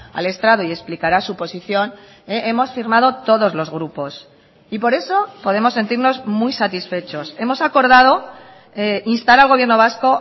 al estrado y explicará su posición hemos firmado todos los grupos y por eso podemos sentirnos muy satisfechos hemos acordado instar al gobierno vasco